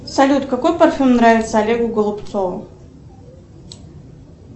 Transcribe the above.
салют какой парфюм нравится олегу голубцову